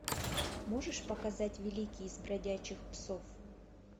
можешь показать великий из бродячих псов